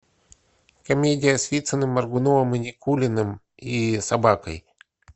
комедия с вициным моргуновым и никулиным и собакой